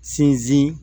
Sinsin